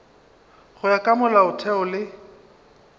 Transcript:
go ya ka molaotheo le